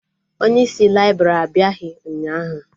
Onye isi laibrị abịaghị ụnyaahụ